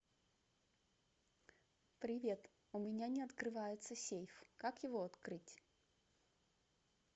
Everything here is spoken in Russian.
привет у меня не открывается сейф как его открыть